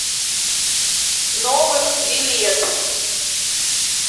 новэкс билет